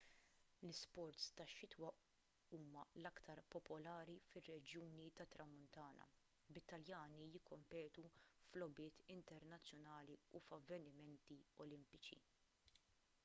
l-isports tax-xitwa huma l-aktar popolari fir-reġjuni tat-tramuntana bit-taljani jikkompetu f'logħbiet internazzjonali u f'avvenimenti olimpiċi